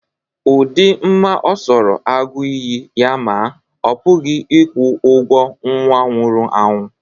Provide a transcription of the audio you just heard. Ụdị mma ọ sọrọ agụ iyi ya maa, ọ pụghị ịkwụ ụgwọ nwa nwụrụ anwụ.